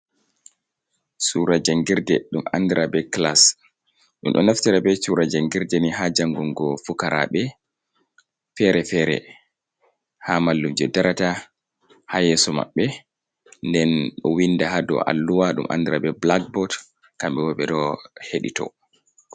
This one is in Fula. Cuura janngirde, ɗum anndira be kilaas, ɗum ɗo naftira be cuura jangirde ni, haa janngungo fukaraaɓe fere-fere, haa mallumjo darata, haa yeeso maɓɓe. Nden ɗo winnda, haa dow alluwa, ɗum anndira be bulakboot, kamɓe bo ɓe ɗo heɗito.